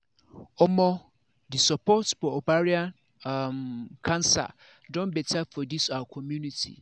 omo the support for ovarian um cancer don better for this our community